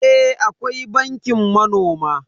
Eh akwai bankin manoma.